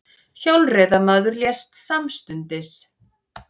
Hjólreiðamaður lést samstundis